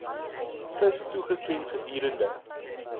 vis toegeken gedurende